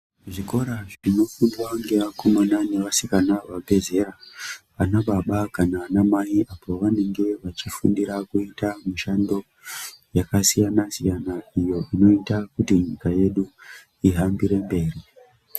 Zvikora zvonofundwa ngavskoma nevasikana vabvezera vana baba kana anamai pavanenge vachifundira kuita mushando yakasiyana siyana iyo inoita kuti nyika yedu ihambiremberi